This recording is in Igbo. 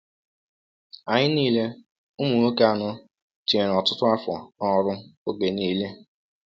Anyị niile, ụmụ nwoke anọ, tinyere ọtụtụ afọ n’ọrụ oge niile.